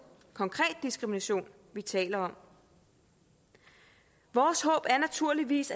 konkret diskrimination vi taler om vores håb er naturligvis